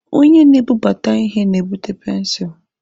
Onye na-ebubata ihe na-ebute pensụl.